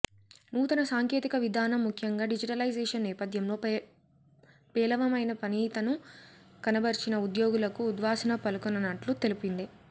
నూతన సాంకేతిక విధానం ముఖ్యంగా డిజిటటైజేషన్ నేపథ్యంలో పేలవమైన పనితీను కనబర్చినన ఉద్యోగులకు ఉద్వాసన పలకనున్నట్లు తెలిపింది